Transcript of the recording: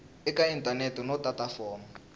eka inthanete no tata fomo